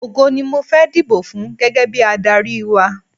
Ògo ni mo fẹ́ dibò fún gẹ́gẹ́ bí adárí wa.